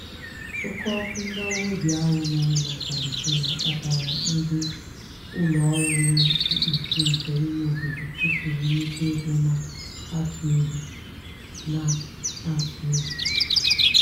oke ọkụ mgbawa obi ahụ mere na califonia kpatara ndị ụlọ ọrụ mkpuchi nke ime obodo tụfuru nnukwu ego na-atụ egwu. na-atụ egwu.